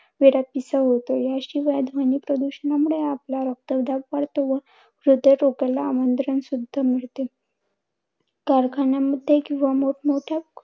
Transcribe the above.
वेडापिसा होतो. याशिवाय ध्वनी प्रदूषणामुळे आपला रक्तदाब वाढतो व हृद्य रोगाला आमंत्रण सुद्धा मिळते. कारखान्यांमध्ये किंवा मोठमोठ्या